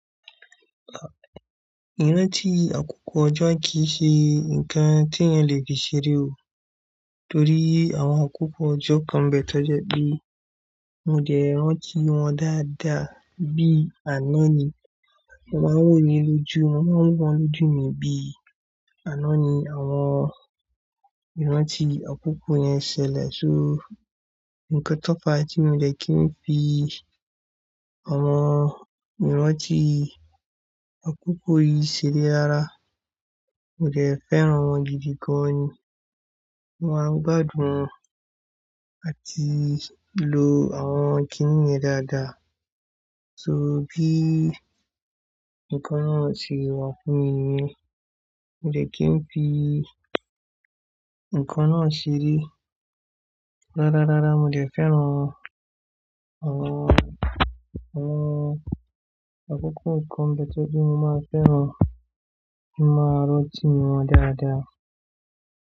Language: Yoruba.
Ìrántí akọ́kọ́ ọjọ́ kìí ṣe nǹkan tí ẹ́n lè fi ṣeré o. Torí àwọn akọ́kọ́ ọjọ́ kan bẹ tọ́jọ́ pé mo dẹ̀ rántí wọn dáadáa bí àná ni mo máa ń wòó ní lójú, mo máa ń rí wọn lójú mi bí àná ni àwọn ìrántí akọ́kọ́ yẹn ṣẹlẹ̀. So, nǹkan tófà tí mo dẹ̀ kìí n fi àwọn ìrántí àkọ́kọ́ yìí ṣeré rárá, mo dẹ̀ fẹ́ràn wọn gidi gan ni. Mo máa ń gbádùn àti lo àwọn kíní yẹn dáadáa. So, bí nǹkan náà ṣe wà fún mi yẹn, mo dẹ̀ kí n fi nǹkan náà ṣeré. Rárárárá mo dẹ̀ fẹ́ràn àwọn, àwọn akọ́kọ́ nǹkan bẹ tọ́ja mo máa fẹ́ràn kí mo máa rántí wọn dáadáa.